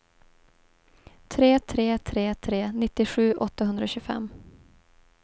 tre tre tre tre nittiosju åttahundratjugofem